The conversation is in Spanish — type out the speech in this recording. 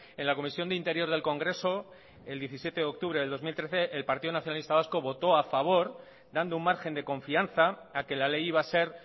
en la comisión de interior del congreso el diecisiete de octubre del dos mil trece el partido nacionalista vasco votó a favor dando un margen de confianza a que la ley iba a ser